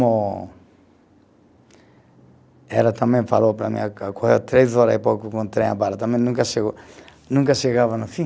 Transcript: ela também falou para mim, três hora e pouco com o trem a bala, também nunca chegou, nunca chegava no fim.